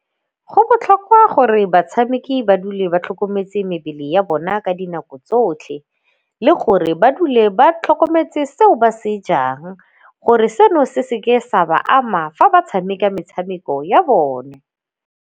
Go botlhokwa gore batshameki ba dule ba tlhokometse mebele ya bona ka dinako tsotlhe le gore ba dule ba tlhokometse seo ba se jang gore seno se se ke sa ba ama fa ba tshameka metshameko ya bone.